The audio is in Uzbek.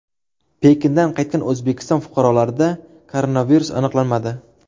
Pekindan qaytgan O‘zbekiston fuqarolarida koronavirus aniqlanmadi.